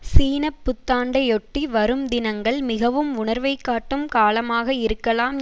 சீன புத்தாண்டையொட்டி வரும் தினங்கள் மிகவும் உணர்வைக் காட்டும் காலமாக இருக்கலாம்